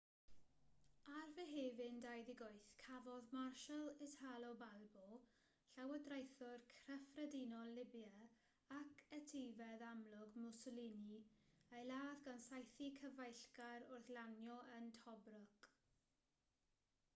ar fehefin 28 cafodd marshal italo balbo llywodraethwr cyffredinol libia ac etifedd amlwg mussolini ei ladd gan saethu cyfeillgar wrth lanio yn tobruk